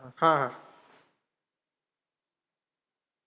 हा हा.